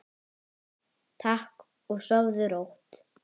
Takk og sofðu rótt.